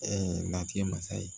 lafiya mansa ye